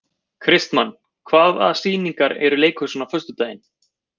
Kristmann, hvaða sýningar eru í leikhúsinu á föstudaginn?